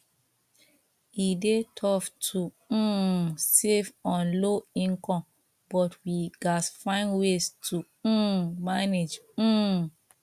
e dey tough to um save on low income but we gats find ways to um manage um